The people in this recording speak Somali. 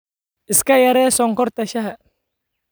Iska yaree sonkorta shaaha.